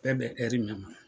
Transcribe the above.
Bɛ bɛ min ma.